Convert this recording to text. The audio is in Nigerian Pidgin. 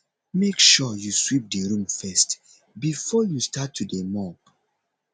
make sure you sweep the room first before you start to dey mop